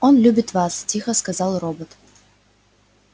он любит вас тихо сказал робот